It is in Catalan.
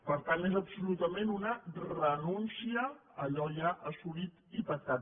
per tant és absolutament una renúncia a allò ja assolit i pactat